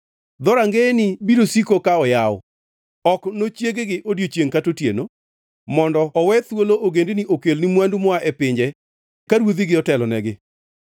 Dhorangeyeni biro siko ka oyaw, ok nochieg-gi odiechiengʼ kata otieno, mondo owe thuolo ogendini okelni mwandu moa e pinje ka ruodhigi otelonegi.